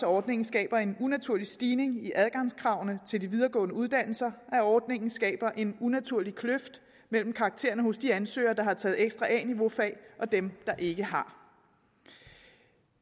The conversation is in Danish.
ordningen skaber en unaturlig stigning i adgangskravene til de videregående uddannelser at ordningen skaber en unaturlig kløft mellem karaktererne hos de ansøgere der har taget ekstra a niveau fag og dem der ikke har